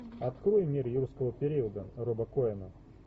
открой мир юрского периода роба коэна